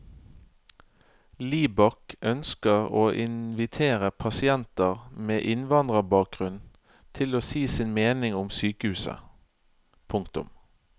Libak ønsker å invitere pasienter med innvandrerbakgrunn til å si sin mening om sykehuset. punktum